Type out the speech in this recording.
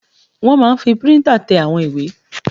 Wọ́n máa n fi píríntà tẹ àwọn ìwé